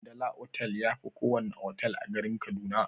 Hamdala otal yafi kowana otal a garin kaduna.